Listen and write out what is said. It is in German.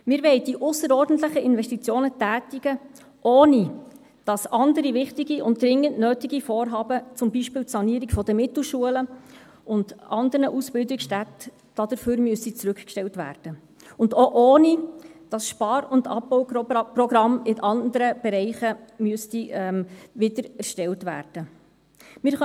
Wir wollen die ausserordentlichen Investitionen tätigen, ohne dass andere wichtige und dringend nötige Vorhaben, zum Beispiel die Sanierung der Mittelschulen und anderer Ausbildungsstätten, dafür zurückgestellt werden müssten, und auch ohne, dass Spar- und Abbauprogramme in anderen Bereichen wiedererstellt werden müssten.